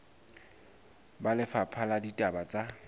ba lefapha la ditaba tsa